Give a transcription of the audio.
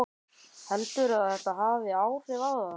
Heldurðu að þetta hafi áhrif á það?